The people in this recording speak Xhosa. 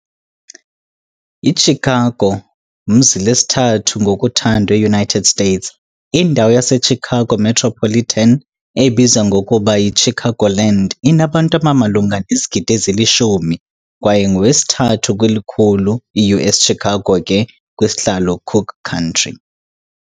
Chicago mzi lesithathu ngokuthandwa eUnited States. Indawo yaseChicago metropolitan, obizwa ngokuba Chicagoland, inabantu abamalunga nezigidi 10 kwaye wesithathu-likhulu U.S.Chicago ke kwisihlalo Cook County.